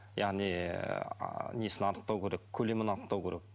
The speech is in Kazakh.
яғни ыыы несін анықтау керек көлемін анықтау керек